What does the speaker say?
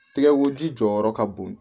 Tigɛkoji jɔyɔrɔ ka bon